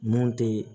Mun tɛ